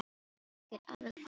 Ég get alveg farið til dyra.